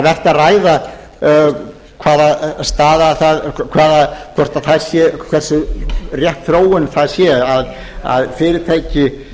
að ræða það væri vert að ræða hversu rétt þróun það sé að fyrirtæki